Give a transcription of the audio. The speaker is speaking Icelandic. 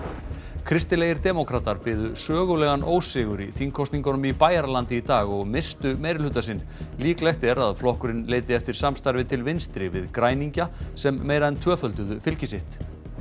kristilegir demókratar biðu sögulegan ósigur í þingkosningum í Bæjaralandi í dag og misstu meirihluta sinn líklegt er að flokkurinn leiti eftir samstarfi til vinstri við græningja sem meira en tvöfölduðu fylgi sitt